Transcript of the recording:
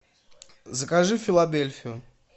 закажи филадельфию